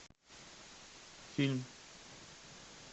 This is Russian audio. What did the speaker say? фильм